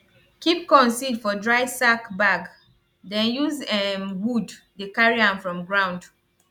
keep corn seed for dry sack bag den use um wood dey carry am from ground